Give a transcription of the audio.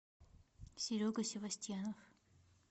серега севостьянов